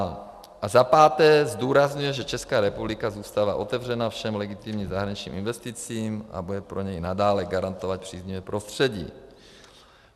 A za páté zdůrazňuje, že Česká republika zůstává otevřena všech legitimním zahraničním investicím a bude pro ně i nadále garantovat příznivé prostředí.